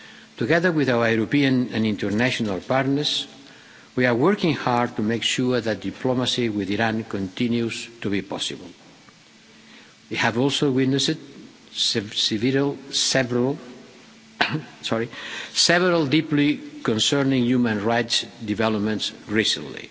Together with our European and international partners, we are working hard to make sure that diplomacy with Iran continues to be possible. We have also witnessed several deeply concerning human-rights developments recently.